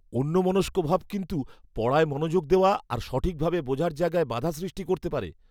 অন্যমনস্কভাব কিন্তু পড়ায় মনোযোগ দেওয়া আর সঠিকভাবে বোঝার জায়গায় বাধা সৃষ্টি করতে পারে।